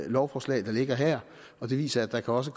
lovforslag der ligger her og det viser at der også